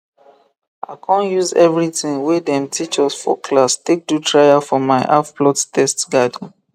i con use everything wey dem teach us for class take do trial for my halfplot test garden